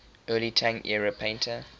early tang era painter